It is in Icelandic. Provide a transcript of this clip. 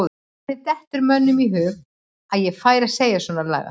Hvernig dettur mönnum í hug að ég færi að segja svona lagað?